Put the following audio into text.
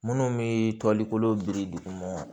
Minnu bɛ toli kolo biri duguma